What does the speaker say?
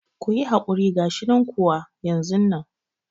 Kuyi hakuri gashinan kuwa wa yanzu nan